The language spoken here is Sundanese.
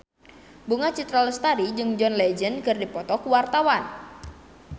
Bunga Citra Lestari jeung John Legend keur dipoto ku wartawan